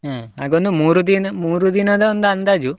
ಅಹ್ ಹಾಗೊಂದು ಮೂರು ದಿನ, ಮೂರು ದಿನದ ಒಂದು ಅಂದಾಜು.